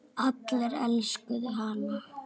Allir elskuðu hann.